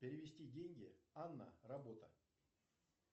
перевести деньги анна работа